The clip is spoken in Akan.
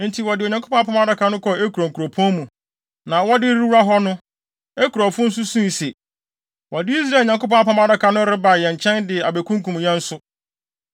Enti wɔde Onyankopɔn Apam Adaka no kɔɔ Ekron kuropɔn mu, na wɔde rewura hɔ no, Ekronfo no suu se, “Wɔde Israel Nyankopɔn Apam Adaka no reba yɛn nkyɛn de abekunkum yɛn nso.”